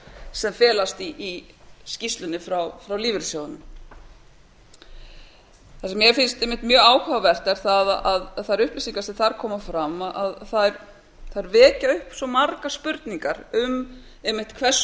sem felast í skýrslunni frá lífeyrissjóðunum það sem mér finnst einmitt mjög áhugavert er að þær upplýsingar sem þar koma fram vekja upp svo margar spurningar um einmitt hvers